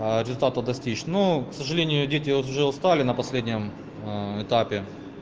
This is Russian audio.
аа результата достичь ну к сожалению дети уже устали на последнем ээ этапе